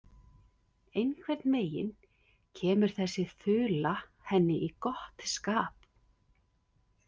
Einhvern veginn kemur þessi þula henni í gott skap.